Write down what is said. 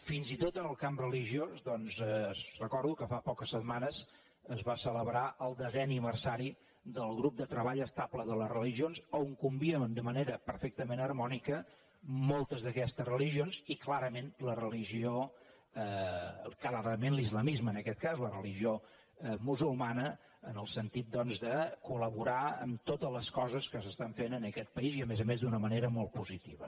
fins i tot en el camp religiós doncs recordo que fa poques setmanes es va celebrar el desè aniversari del grup de treball estable de religions a on conviuen de manera perfectament harmònica moltes d’aquestes religions i clarament l’islamisme en aquest cas la religió musulmana en el sentit de collaborar en totes les coses que s’estan fent en aquest país i a més a més d’una manera molt positiva